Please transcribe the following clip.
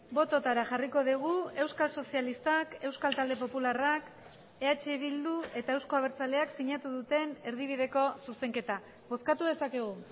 bototara jarriko dugu euskal sozialistak euskal talde popularrak eh bildu eta euzko abertzaleak sinatu duten erdibideko zuzenketa bozkatu dezakegu